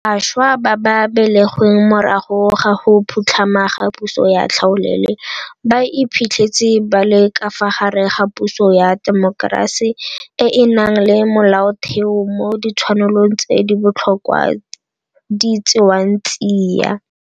Bašwa ba ba belegweng morago ga go phutlhama ga puso ya tlhaolele ba iphitlhetse ba le ka fa gare ga puso ya temokerasi e e nang le Molaotheo mo ditshwanelo tse di botlhokwa di tsewang tsia.